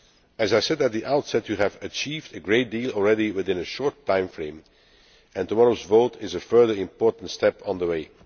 As I said at the outset, Parliament has achieved a great deal already within a short timeframe, and tomorrow's vote is a further important step on the way.